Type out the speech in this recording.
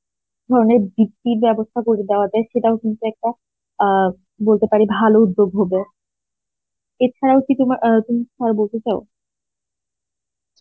এ ধরনের ব্যবস্থা করে দেওয়া যায় সেটাও কিন্তু একটা আ বলতে পারি ভালো উদ্যোগ হবো এ ছাড়াও কি তোমার আ তুমি আর বলতে চাও?